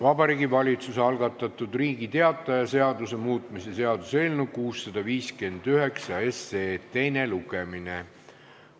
Vabariigi Valitsuse algatatud Riigi Teataja seaduse muutmise seaduse eelnõu 659 teine lugemine.